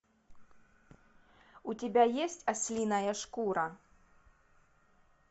у тебя есть ослиная шкура